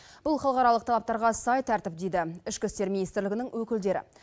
бұл халықаралық талаптарға сай тәртіп дейді ішкі істер министрлігінің өкілдері